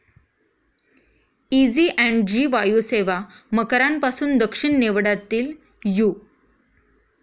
Easy ॲण्ड जी वायुसेवा मकरांपासून दक्षिण नेवडातील यु.